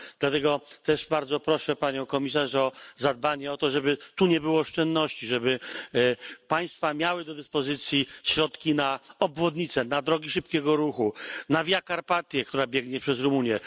Dlatego też bardzo proszę Panią Komisarz o dopilnowanie, żeby nie było tu oszczędności, żeby państwa miały do dyspozycji środki na obwodnice, na drogi szybkiego ruchu, na Via Carpathia, która biegnie przez Rumunię.